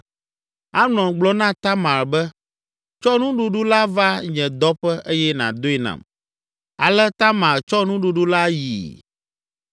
Amnon gblɔ na Tamar be, “Tsɔ nuɖuɖu la va nye dɔƒe eye nàdoe nam.” Ale Tamar tsɔ nuɖuɖu la yii.